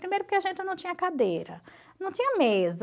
Primeiro porque a gente não tinha cadeira, não tinha mesa.